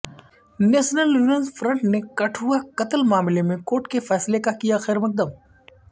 national women's front نے کٹھوعہ قتل معاملے میں کورٹ کے فیصلے کا کیا خیر مقدم